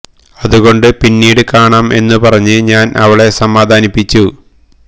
അത് കൊണ്ട് പിന്നീട് കാണാം എന്ന് പറഞ്ഞു ഞാന് അവളെ സമാധാനിപ്പിച്ചു